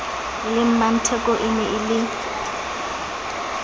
le mmatheko ene e le